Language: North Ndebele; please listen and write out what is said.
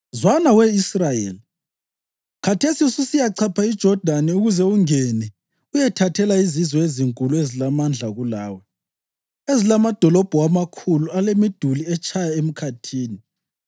“Zwana, We Israyeli. Khathesi ususiyachapha iJodani ukuze ungene uyethathela izizwe ezinkulu ezilamandla kulawe, ezilamadolobho amakhulu alemiduli etshaya emkhathini.